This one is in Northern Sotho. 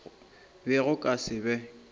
be go ka se be